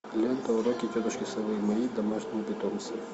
лента уроки тетушки совы мои домашние питомцы